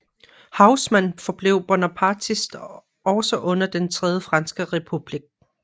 Haussmann forblev bonapartist også under den tredje franske republik